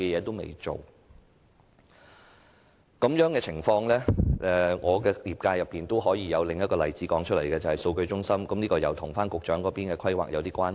就這種情況，我可以在我的業界中舉出另一個例子，就是數據中心，這與局長所負責的規劃有點關係。